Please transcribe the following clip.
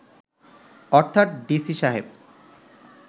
অর্থাৎ ডিসি সাহেব